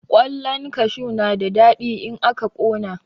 Ƙwallan kashu na da daɗi in aka ƙona.